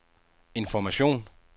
information